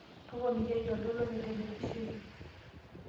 Toponikiaki oltoilo le televishen.